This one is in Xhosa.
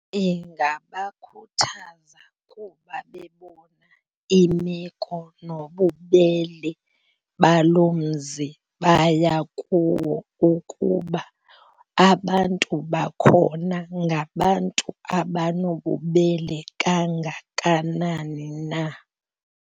Ingabakhuthaza kuba bebona imeko nobubele baloo mzi baya kuwo ukuba abantu bakhona ngabantu abanobubele kangakanani na.